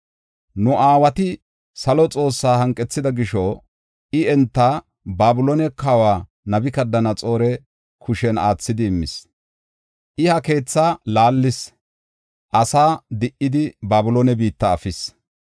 Nu aawati salo Xoossaa hanqethida gisho, I enta Babiloone kawa Nabukadanaxoora kushen aathidi immis. I ha keethaa laallis; asaa di77idi Babiloone biitta efis.”